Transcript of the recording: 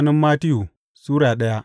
Mattiyu Sura daya